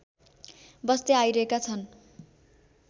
बस्दै आइरहेका छन्